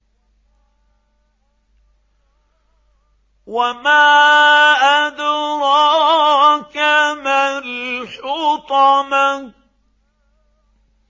وَمَا أَدْرَاكَ مَا الْحُطَمَةُ